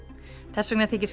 þessvegna þykir